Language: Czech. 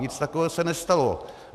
Nic takového se nestalo.